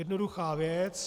Jednoduchá věc.